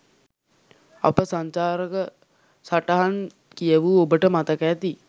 අප සංචාරක සටහන් කියවූ ඔබට මතක ඇති.